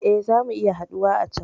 Eh, zamu iya haɗuwa a can